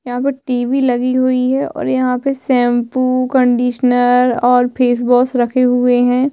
यहाँ पे टीवी लगी हुई है और यहाँ पे शैम्पू कंडीशनर और फेस वाश रखे हुए है।